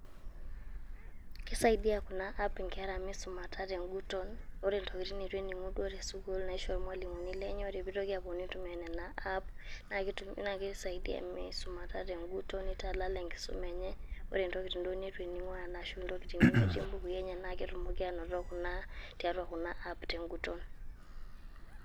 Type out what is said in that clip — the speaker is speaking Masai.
Keisaidia Kuna apps ing'era meisumata te ng'uton, ore intokitin neitu ening'u duo te sukuul naishoo duo ilmwalimuni lenye neitoki apuonu aitumia Nena apps, naake keisaidia meisumata te ng'uton neitalala enkisuma enye to ntokitin duo neitu ening'u ashuu ntokitin nemetii imbukui enye naake etumu ainoto tiatua kuna apps te ng'uton.